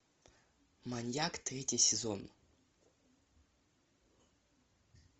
маньяк третий сезон